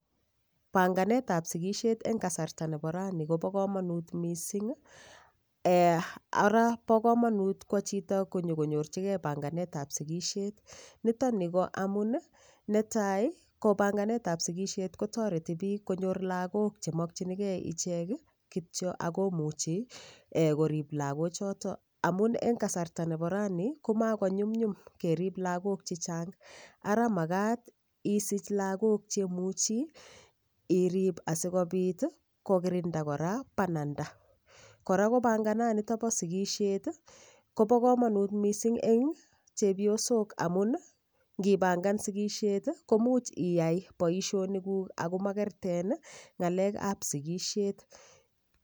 Panganet ab sikishet eng' kasarta nebo raini kobo komonut mising' ara bo komonut kwo chito konyikonyorchigei panganetab sikishet nitoni ko amun netai ko panganetab sigishet kotoreti biik konyor lakok chemokchinigei ichek kityo akomuchi korib lakochoto amun eng' kasarta nebo raini komakonyumyum kerib lakok chechang' ara makat isich lakok chemuchi irib asikobit kokirinda kora banada kora ko pangananito bo sikishet kobo kamanut mising' eng' chepyosok amun ngipangan sikishet komuch iyai boishonik ako makerten ng'alekab sikishet